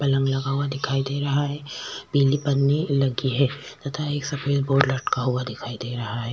पलंग लगा हुआ दिखाई दे रहा है पीली पन्नी लगी है तथा एक सफेद बोर्ड लटका हुआ दिखाई दे रहा है।